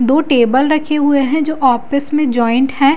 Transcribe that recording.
दो टेबल रखे हुए हैं जो ऑफिस में जॉइंट हैं।